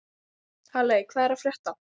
Halley, hvað er að frétta?